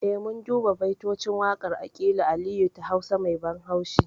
Eh mun duba baitocin waƙar aƙilu aliyu ta hausa mai ban haushi